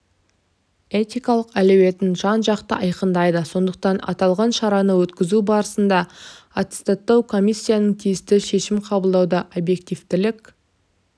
этикалық әлеуетін жан-жақты айқындайды сондықтан аталған шараны өткізу барысында аттестаттау комиссиясынан тиісті шешім қабылдауда объективтілік